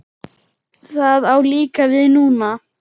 Það á líka við núna.